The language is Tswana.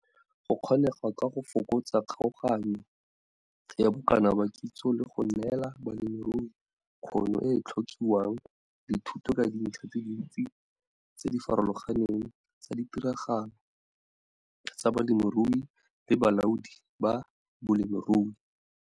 Go kgonegwa ka go fokotsa kgaoganyo ya bokana ba kitso le go neela balemirui kgono e e tlhokiwang le thuto ka dintlha tse dintsi tse di farologaneng tsa ditiragalo tsa bolemirui le bolaodi ba bolemirui.